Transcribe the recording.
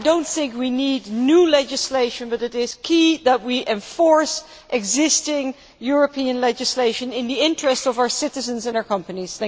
We do not need new legislation, but it is key that we enforce existing European legislation in the interests of our citizens and our companies.